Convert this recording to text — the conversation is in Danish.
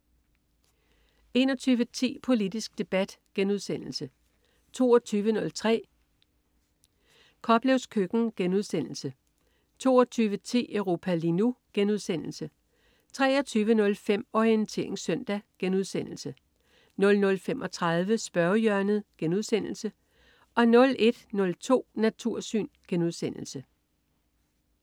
21.10 Politisk debat* 22.03 Koplevs køkken* 22.10 Europa lige nu* 23.05 Orientering søndag* 00.35 Spørgehjørnet* 01.02 Natursyn*